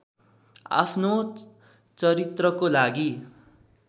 आफ्नो चरित्रको लागि